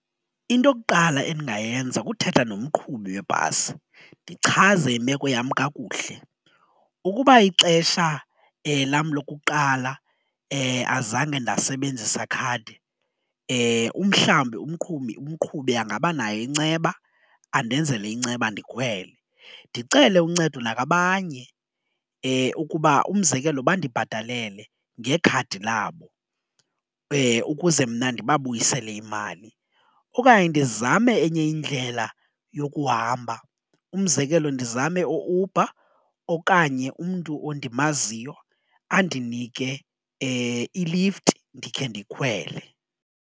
Into okuqala endingayenza kuthetha nomqhubi webhasi ndichaze imeko yam kakuhle, ukuba ixesha lam lokuqala azange ndasebenzisa khadi umhlawumbi umqhubi umqhubi angabanayo inceba andenzele inceba ndikhwele. Ndicele uncedo nakwabanye ukuba umzekelo, bandibhatalele ngekhadi labo ukuze mna ndibabuyisele imali, okanye ndizame enye indlela yokuhamba umzekelo ndizame u-Uber okanye umntu ondimaziyo andinike ilifti ndikhe ndikhwele.